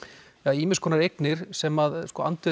ýmis konar eignir sem andvirðið